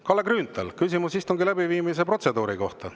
Kalle Grünthal, küsimus istungi läbiviimise protseduuri kohta.